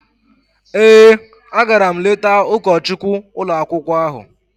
Ee, agara m letaa ụkọchukwu ụlọakwụkwọ ahụ.